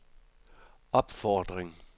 opfordring